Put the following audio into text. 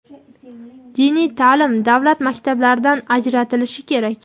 diniy ta’lim davlat maktablaridan ajratilishi kerak.